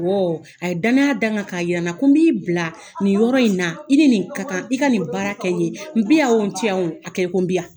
Woo, a ye danaya da n kan ka yira n na ko b'i bila nin yɔrɔ in na, i ni nin ka kan i ka nin baara kɛ ye, n bi' yan wo, n t'i yan wo, a kɛ i ko bi yan.